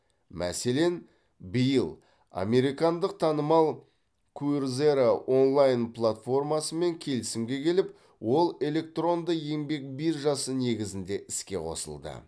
мәселен биыл американдық танымал куерзера онлайн платформасымен келісімге келіп ол электронды еңбек биржасы негізінде іске қосылды